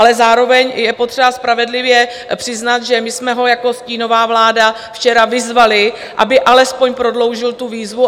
Ale zároveň je potřeba spravedlivě přiznat, že my jsme ho jako stínová vláda včera vyzvali, aby alespoň prodloužil tu výzvu.